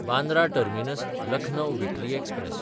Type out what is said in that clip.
Bandra टर्मिनस–लखनौ weekly express